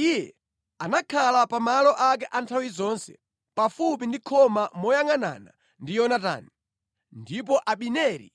Iye anakhala pa malo ake a nthawi zonse pafupi ndi khoma moyangʼanana ndi Yonatani, ndipo Abineri